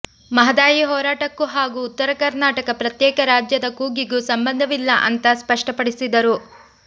ಮಹದಾಯಿ ಹೋರಾಟಕ್ಕೂ ಹಾಗೂ ಉತ್ತರ ಕರ್ನಾಟಕ ಪ್ರತ್ಯೇಕ ರಾಜ್ಯದ ಕೂಗಿಗೂ ಸಂಬಂಧವಿಲ್ಲ ಅಂತ ಸ್ಪಷ್ಟಪಡಿಸಿದರು